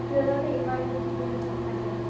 কিবা তাৰ মানে emergency পৰিলে পইচা নাই দিয়াচোন